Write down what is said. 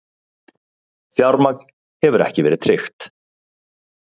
Fjármagn hefur ekki verið tryggt.